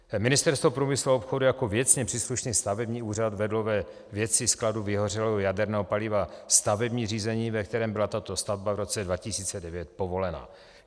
Ministerstvo průmyslu a obchodu jako věcně příslušný stavební úřad vedlo ve věci skladu vyhořelého jaderného paliva stavební řízení, ve kterém byla tato stavba v roce 2009 povolena.